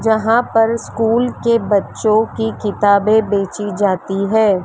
जहां पर स्कूल के बच्चों की किताबें बेची जाती है।